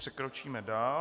Přikročíme dál.